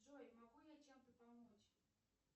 джой могу я чем то помочь